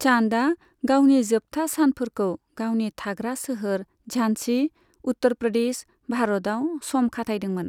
चान्दआ गावनि जोबथा सानफोरखौ गावनि थाग्रा सोहोर झान्सी, उत्तर प्रदेश, भारतआव सम खाथायदोंमोन।